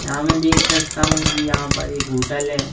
यहाँ मैं देख सकता हूँ कि यहाँ पर एक होटल है।